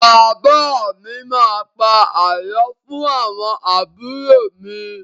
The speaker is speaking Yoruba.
Bàbá mi má a pa àlọ́ fún àwọn àbúrò mi.